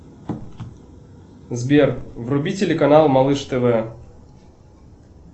сбер вруби телеканал малыш тв